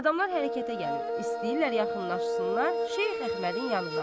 Adamlar hərəkətə gəlir, istəyirlər yaxınlaşsınlar Şeyx Əhmədin yanına.